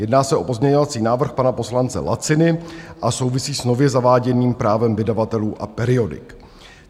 Jedná se o pozměňovací návrh pana poslance Laciny a souvisí s nově zaváděným právem vydavatelů a periodik.